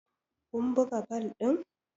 kun buga bal din!